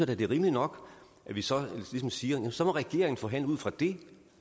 da det er rimeligt nok at vi så siger at så må regeringen forhandle ud fra det